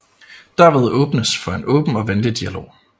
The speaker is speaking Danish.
Derved åbnes for en åben og venlig dialog